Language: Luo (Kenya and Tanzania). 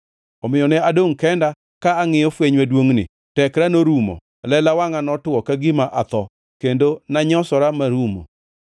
Omiyo ne adongʼ kenda, ka angʼiyo fweny maduongʼni; tekra norumo, lela wangʼa notwo ka gima atho, kendo nanyosora marumo.